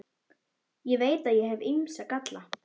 Ég veit að ég hef ýmsa galla.